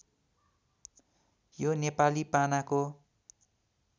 यो नेपाली पानाको